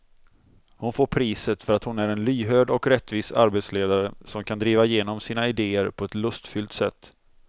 Hon får priset för att hon är en lyhörd och rättvis arbetsledare som kan driva igenom sina idéer på ett lustfyllt sätt.